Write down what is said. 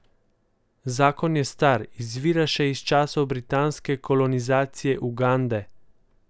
Zakon je star, izvira še iz časov britanske kolonizacije Ugande.